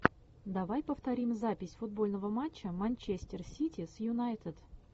давай повторим запись футбольного матча манчестер сити с юнайтед